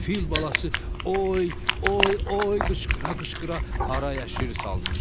Fil balası oy, oy, oy qışqıra-qışqıra harayəşir salmışdı.